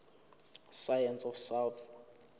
science of south